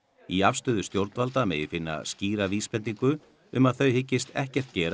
í afstöðu stjórnvalda megi finna skýra vísbendingu um að þau hyggist ekkert gera